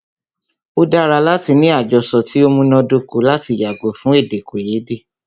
O dára láti ní àjọsọ ti o múná dóko lati yàgò fún èdèkòyédè.